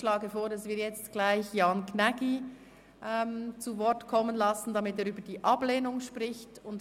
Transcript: Ich schlage vor, dass wir Jan Gnägi zu Wort kommen lassen, damit er über die Ablehnung sprechen kann.